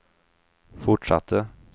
fortsatte